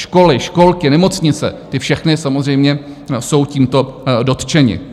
Školy, školky, nemocnice, ty všechny samozřejmě jsou tímto dotčeny.